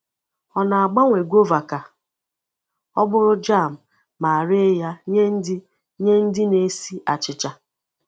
Ọ na-agbanwe guava ka ọ bụrụ jam ma ree ya nye ndị nye ndị na-esi achịcha.